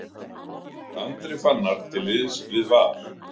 Andri Fannar til liðs við Val